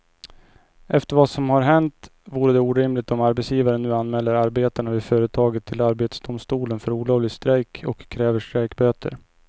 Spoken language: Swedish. Efter vad som har hänt vore det orimligt om arbetsgivaren nu anmäler arbetarna vid företaget till arbetsdomstolen för olovlig strejk och kräver strejkböter.